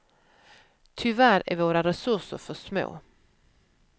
Tyvärr är våra resurser för små.